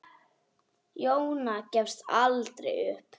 Jóna gafst aldrei upp.